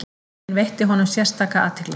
Enginn veitti honum sérstaka athygli.